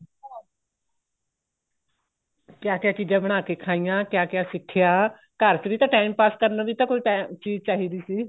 ਕਿਆ ਕਿਆ ਚੀਜ਼ਾਂ ਬਣਾਕੇ ਖਾਈਆਂ ਕਿਆ ਕਿਆ ਸਿੱਖਿਆ ਘਰ ਚ ਵੀ ਤਾਂ time pass ਕਰਨ ਨੂੰ ਵੀ ਤਾਂ ਕੋਈ ਚੀਜ਼ ਚਾਹੀਦੀ ਸੀ